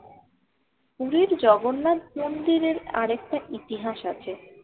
পুরীর জগন্নাথ মন্দিরের আরেকটা ইতিহাস আছে